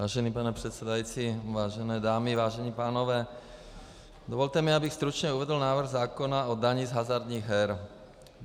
Vážený pane předsedající, vážené dámy, vážení pánové, dovolte mi, abych stručně uvedl návrh zákona o dani z hazardních her.